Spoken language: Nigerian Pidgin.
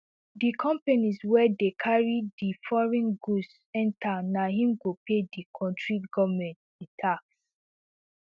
di companies wey dey carry di foreign goods enta na im go pay di kontri goment di tax